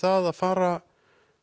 að fara